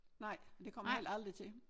Nej og det kommer jeg heller aldrig til